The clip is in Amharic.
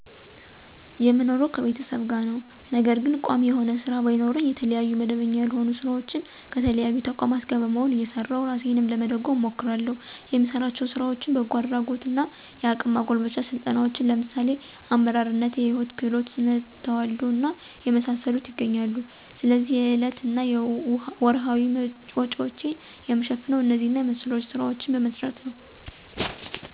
የምኖረው ከቤተሰብ ጋር ነው። ነገር ግን ቋሚ የሆነ ስራ ባይኖረኝ የተለያዩ መደበኛ ያልሆኑ ስራዎች ከተለያዩ ተቋማት ጋር በመሆን እየሰራሁ እራሴን ለመደጎም እሞክራለሁ። የምሰራቸው ስራዎችም በጎ አድራጎት እና የአቅም ማጎልበቻ ስልጠናዎችን ለምሳሌ አመራርነት፣ የህይወት ክህሎት፣ ስነተዋልዶ እና የመሳሰሉት ይገኛሉ። ስለዚህ የዕለት እና ወርሀዊ ወጭዎችን የምሸፍነው እነዚህ እና መሰሎች ስራዎችን በመስራት ነው።